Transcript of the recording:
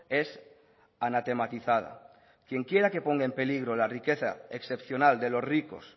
es anatematizada quien quiera que ponga en peligro la riqueza excepcional de los ricos